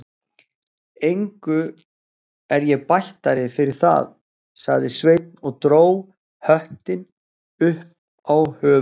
Engu er ég bættari fyrir það, sagði Sveinn og dró höttinn upp á höfuðið.